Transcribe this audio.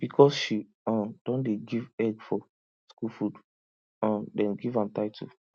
because she um don dey give egg for school food um dem give am title